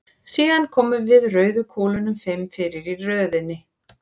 Síðan komum við rauðu kúlunum fimm fyrir í röðinni.